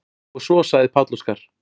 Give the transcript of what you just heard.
Og svo sagði Páll Óskar: